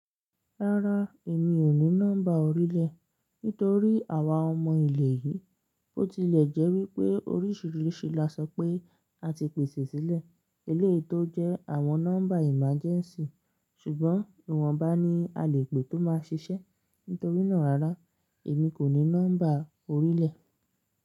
Rárá, èmi ò ní nọ́mbà orílẹ̀ nítorí àwa ọmọ ilẹ̀ yìí, ó tilẹ̀ jẹ́ wípé oríṣìíríṣìí la sọ pé a ti pèsè sílẹ̀ eléyí tó jẹ́ àwọn nọ́mbà emergency, ṣùgbọ́n ìwọ̀nba ni a lè pè tó máa ṣiṣẹ́. Nítorínà rárá, èmi kò ní nọ́mbà orílẹ̀.